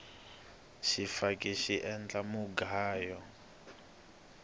swifaki swi endla mugayo